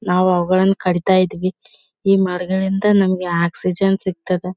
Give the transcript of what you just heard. ನಾವು ಅವುಗಳನ್ನ ಕಡಿತಾ ಇದೀವಿ ಈ ಮರಗಳಿಂದ ನಮಗೆ ಆಕ್ಸಿಜನ್ ಸಿಕ್ತದ.